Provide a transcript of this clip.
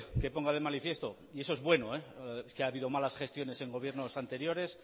que ponga de manifiesto eso es bueno que ha habido malas gestiones en gobiernos anteriores